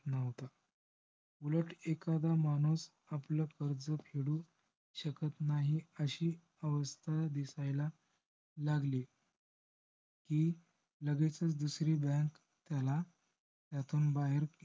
उलट एखादा माणूस आपला कर्ज फेडू शकत नाही अशी अवस्था दिसायला लागली. कि लगेचच दुसरी bank त्याला त्यातून बाहेर